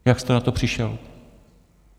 Jak jste na to přišel?